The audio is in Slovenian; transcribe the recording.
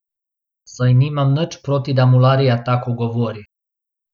Saj nimam nič proti, da mularija tako govori.